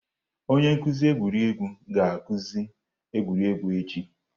Onye nkuzi egwuregwu ga-akụzi egwuregwu echi.